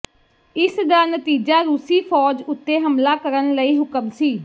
ਇਸ ਦਾ ਨਤੀਜਾ ਰੂਸੀ ਫ਼ੌਜ ਉੱਤੇ ਹਮਲਾ ਕਰਨ ਲਈ ਹੁਕਮ ਸੀ